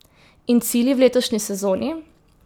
In cilji v letošnji sezoni?